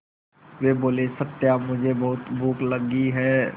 वे बोले सत्या मुझे बहुत भूख लगी है